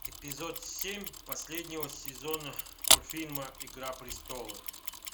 эпизод семь последнего сезона мультфильма игра престолов